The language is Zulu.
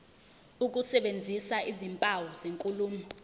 ukusebenzisa izimpawu zenkulumo